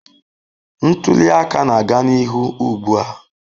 Ntuli aka na-aga n'ihu ugbu a.